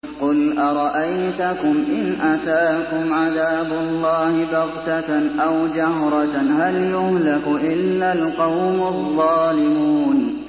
قُلْ أَرَأَيْتَكُمْ إِنْ أَتَاكُمْ عَذَابُ اللَّهِ بَغْتَةً أَوْ جَهْرَةً هَلْ يُهْلَكُ إِلَّا الْقَوْمُ الظَّالِمُونَ